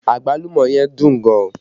Agbalumo yẹn dùn gan